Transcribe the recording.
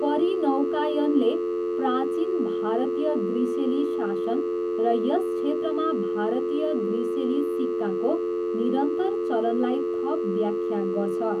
परिनौकायनले प्राचीन भारतीय ग्रिसेली शासन र यस क्षेत्रमा भारतीय ग्रिसेली सिक्काको निरन्तर चलनलाई थप व्याख्या गर्छ।